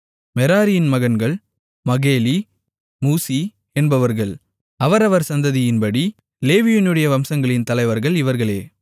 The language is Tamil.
மெராரியின் மகன்கள் மகேலி மூசி என்பவர்கள் அவரவர் சந்ததியின்படி லேவியினுடைய வம்சங்களின் தலைவர்கள் இவர்களே